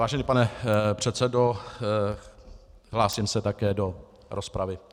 Vážený pane předsedo, hlásím se také do rozpravy.